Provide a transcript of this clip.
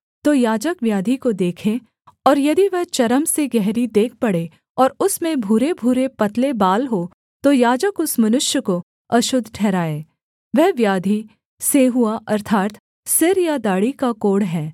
तो याजक व्याधि को देखे और यदि वह चर्म से गहरी देख पड़े और उसमें भूरेभूरे पतले बाल हों तो याजक उस मनुष्य को अशुद्ध ठहराए वह व्याधि सेंहुआ अर्थात् सिर या दाढ़ी का कोढ़ है